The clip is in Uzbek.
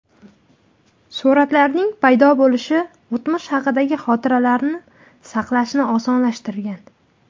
Suratlarning paydo bo‘lishi o‘tmish haqidagi xotiralarni salqashni osonlashtirgan.